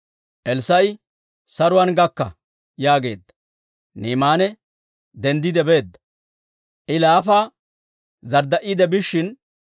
Elssaa'i, «Saruwaan gakka!» yaageedda. Ni'imaane denddiide beedda. I laafa zardda'iide biishshin,